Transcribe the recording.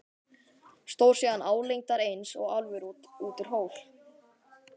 Stóð síðan álengdar eins og álfur út úr hól.